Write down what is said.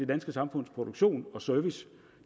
danske samfunds produktion og service